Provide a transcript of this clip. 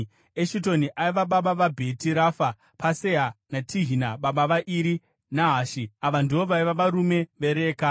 Eshitoni aiva baba vaBheti Rafa, Pasea naTehina baba vaIri Nahashi. Ava ndivo vaiva varume veReka.